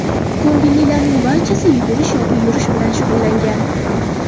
Ko‘ngillilarning barchasi yugurish yoki yurish bilan shug‘ullangan.